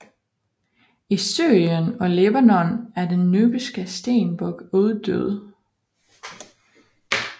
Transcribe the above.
I Syrien og Libanon er den nubiske stenbuk uddød